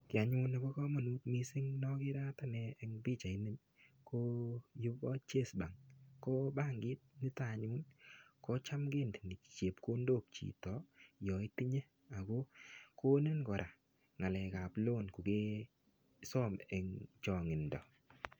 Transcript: Kiy anyun nebo kamanut mising nogere anyun eng pichaini ko yu ko Chase Bank, ko bankit nito anyun ko cham kindeni chepkondok chito yo itinye. Konin kora ngalekab loan kokesom eng chongindo.